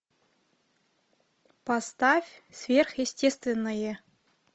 поставь сверхъестественное